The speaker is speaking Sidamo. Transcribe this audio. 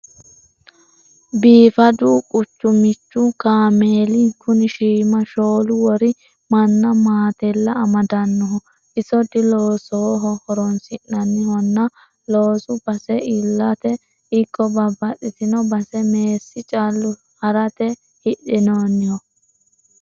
Biifadu qucumichu kaameeli kuni shiima shoolu wori mannna maatella amadanoho iso diloosoho horonsi'nanihonna loosu base iillate ikko babbaxxitino base meessi callu harate hidhinoniho.